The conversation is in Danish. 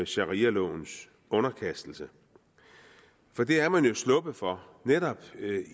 sharialovens underkastelse for det er man jo sluppet for netop